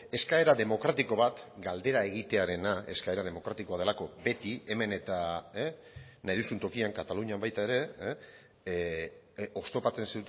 eskaera demokratiko bat galdera egitearena eskaera demokratikoa delako beti hemen eta nahi duzun tokian katalunian baita ere oztopatzen